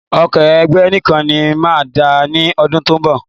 Oko Ẹ̀gẹ́ nìkan ni máa dá ní ọdún tó ń bọ̀